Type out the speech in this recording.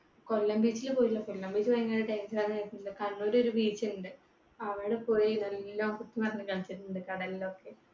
കൊല്ലം beach ൽ പോയില്ല. Kollam beach ഭയങ്കര danger ആണെന്ന് കേട്ടിട്ടുണ്ട്. കണ്ണൂര് ഒരു beach ഉണ്ട് അവിടെ പോയി നല്ലോണം കളിച്ചിട്ടുണ്ട് കടലിലൊക്കെ